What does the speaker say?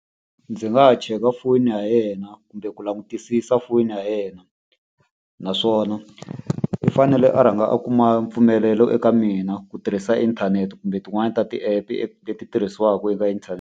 Ndzi nga ha cheka foni ya yena kumbe ku langutisisa foyini ya yena. Naswona i fanele a rhanga a kuma mpfumelelo eka mina ku tirhisa inthanete kumbe tin'wani ta ti-app-e leti tirhisiwaka eka inthanete.